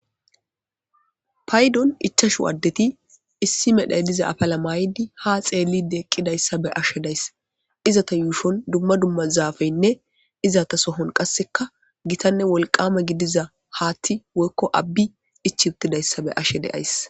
paydon ichashu addeti issi medhay diza apala maaydi ha xeelide eqqidayssa be ashe dayssa iza ta yuushon dumma dumma zaafaynne iza ta sohon qasseka gitanne wolqame gidiza haatti woykko abbi ichiuutidayssa be ashe deays